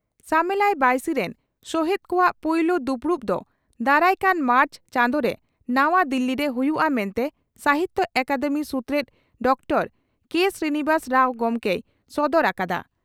ᱥᱟᱢᱮᱞᱟᱭ ᱵᱟᱹᱭᱥᱤ ᱨᱤᱱ ᱥᱚᱦᱮᱛ ᱠᱚᱣᱟᱜ ᱯᱩᱭᱞᱩ ᱫᱩᱯᱲᱩᱵ ᱫᱚ ᱫᱟᱨᱟᱠᱟᱱ ᱢᱟᱨᱪ ᱪᱟᱸᱫᱚ ᱨᱮ ᱱᱟᱣᱟ ᱫᱤᱞᱤ ᱨᱮ ᱦᱩᱭᱩᱜᱼᱟ ᱢᱮᱱᱛᱮ ᱥᱟᱦᱤᱛᱭᱚ ᱟᱠᱟᱫᱮᱢᱤ ᱥᱩᱛᱨᱮᱛ ᱰᱚᱠᱛᱟᱨ ᱠᱮᱹ ᱥᱨᱤᱱᱤᱵᱟᱥ ᱨᱟᱣ ᱜᱚᱢᱠᱮᱭ ᱥᱚᱫᱚᱨ ᱟᱠᱟᱫᱼᱟ ᱾